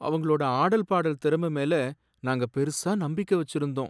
அவங்களோட ஆடல் பாடல் திறம மேல நாங்க பெரிசா நம்பிக்கை வெச்சிருந்தோம்.